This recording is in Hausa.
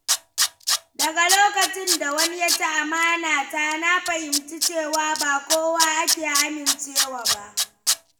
Daga lokacin da wani ya ci amana ta na fahimci cewa ba kowa ake amincewa ba.